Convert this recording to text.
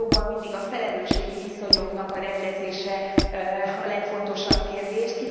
Ugye jogban mindig a felelősségi viszonyoknak a rendezése a legfontosabb kérdés.